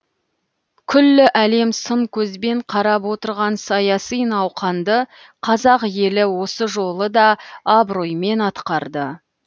күллі әлем сын көзбен қарап отырған саяси науқанды қазақ елі осы жолы да абыроймен атқарды